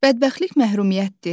Bədbəxtlik məhrumiyyətdir?